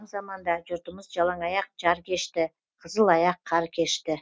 заманда жұртымыз жалаң аяқ жар кешті қызыл аяқ қар кешті